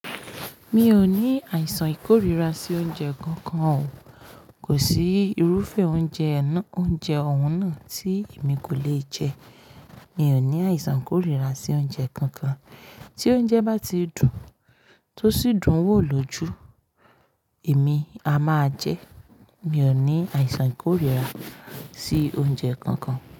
Mi ò ní àìsàn ìkórìíra sí oúnjẹ kankan o. Kò sí irúfẹ́ oúnjẹ ọ̀ún náà tí èmi kò le jẹ. Mi ò ní àìsàn ìkórìíra sí oúnjẹ kankan. Tí oúnjẹ bá ti dùn tó sì dùn-ún wò lójú, èmi a máa jẹ ẹ́. Mi ò ní àìsàn ìkórìíra sí oúnjẹ kankan.